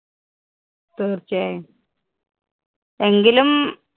തീര്‍ച്ചയായും. എങ്കിലും